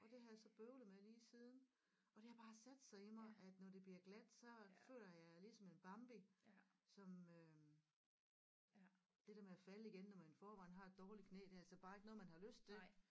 Og det har jeg så bøvlet med lige siden og det har bare sat sig i mig at når det bliver glat så føler jeg ligesom en Bambi som øh det der med at falde igen når man i forvejen har et dårligt knæ det er altså bare ikke noget man har lyst til